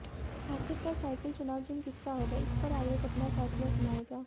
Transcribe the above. आखिरकार साइकिल चुनाव चिन्ह किसका होगा इस पर आयोग अपना फैसला सुनाएगा